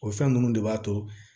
O fɛn ninnu de b'a to